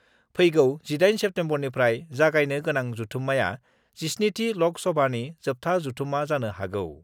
फैगौ 18 सेप्तेम्बरनिफ्राय जागायनो गोनां जथुम्माया 17थि लक सभानि जोबथा जथुम्माजानो हागौ।